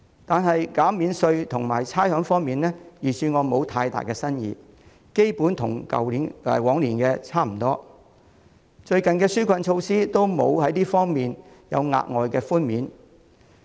但在減免稅項和差餉方面，預算案並無太大新意，基本上與去年差不多，而最近的紓困措施亦沒有在相關方面提供額外寬免。